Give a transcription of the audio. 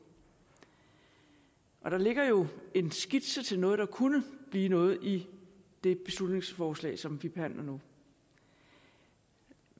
og der ligger jo en skitse til noget der kunne blive noget i det beslutningsforslag som vi behandler nu